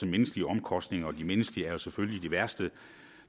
menneskelige omkostninger og de menneskelige er jo selvfølgelig de værste